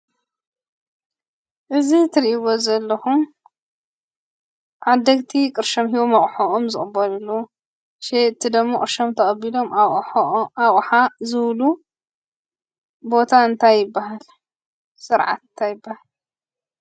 እዚ እትሪእዎ ዘለኹም ዓደግቲ ቅርሾም ሂቦም ኣቑሑኦም ዝቕበልሉ ሸየጥቲ ደሞ ቅርሾም ተቐቢሎም ኣቕሓ ዝህብሉ ቦታ እንታይ ይብሃል? ስርዓት እንታይ ይብሃል?